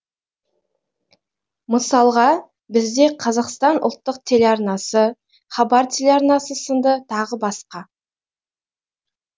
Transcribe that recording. мысалға бізде қазақстан ұлттық телеарнасы хабар телеарнасы сынды тағы басқа